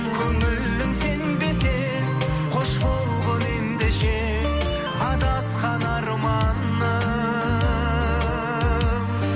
көңілің сенбесе қош болғың ендеше адасқан арманым